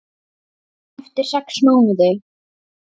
Eftir sex mánuði.